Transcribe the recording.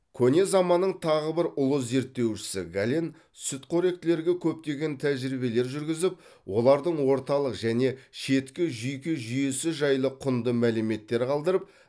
көне заманның тағы бір ұлы зерттеушісі гален сүтқоректілерге көптеген тәжірибелер жүргізіп олардың орталық және шеткі жүйке жүйесі жайлы құнды мәліметтер қалдырып